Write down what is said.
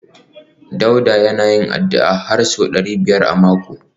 Dauda yana yin addu’a har sau ɗari biyar da hamsin a mako